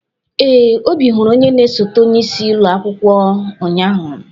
Ee, Obi hụrụ onye na esote onye isi ụlọ akwụkwọ ụnyahụ.